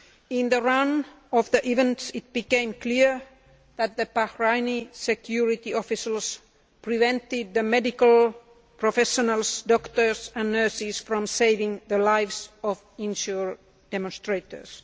In the course of these events it became clear that the Bahraini security officers were preventing the medical professionals, doctors and nurses from saving the lives of injured demonstrators.